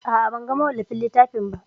A'a, ban ga mawallafin littafin ba.